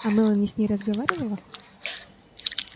а мелани с ней разговаривала